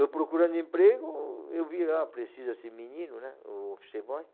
Eu procurando emprego, eu vi lá, precisa ser menino, né? Office boy